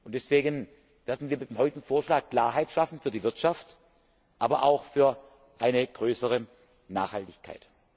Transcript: Deswegen werden wir mit dem heutigen Vorschlag Klarheit schaffen für die Wirtschaft, aber auch für eine größere Nachhaltigkeit.